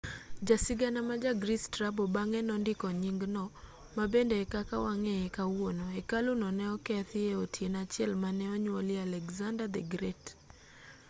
jasigana ma ja greece strabo bang'e nondiko nyingno ma bende e kaka wang'eye kawuono hekalu no ne okethi e otieno achiel mane onyuolie alexander the great